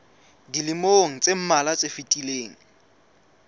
dilemong tse mmalwa tse fetileng